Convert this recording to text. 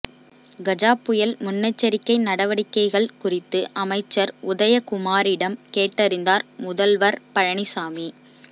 கஜா புயல் முன்னெச்சரிக்கை நடவடிக்கைகள் குறித்து அமைச்சர் உதயகுமாரிடம் கேட்டறிந்தார் முதல்வர் பழனிசாமி